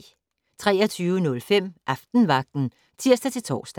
23:05: Aftenvagten (tir-tor)